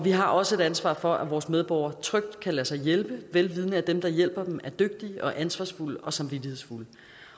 har også et ansvar for at vores medborgere trygt kan lade sig hjælpe vel vidende at dem der hjælper dem er dygtige og ansvarsfulde og samvittighedsfulde